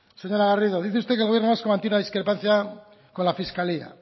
señora garrido dice usted que el gobierno vasco mantiene la discrepancia con la fiscalía